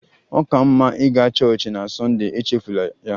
Ọ ka mma ịga chọọchị na Sunday! Echefula ya.